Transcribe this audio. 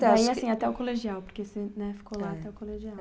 Daí, assim, até o colegial, porque você, né, ficou lá até o colegial.